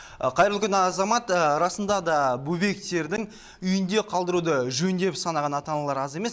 қайырлы күн азамат расында да бөбектердің үйінде қалдыруды жөн деп санаған ата аналар аз емес